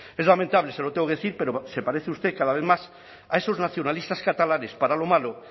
es lamentable se lo tengo que decir pero se parece usted cada vez más a esos nacionalistas catalanes para lo malo